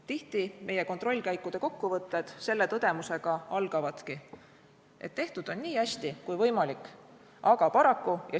Tihti meie kontrollkäikude kokkuvõtted selle tõdemusega algavadki, et tehtud on nii hästi kui võimalik, aga paraku ...